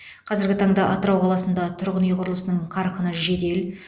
қазіргі таңда атырау қаласында тұрғын үй құрылысының қарқыны жедел